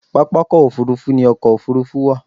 Pápákọ̀ òfúrufú ni ọkọ̀ òfúrufú wà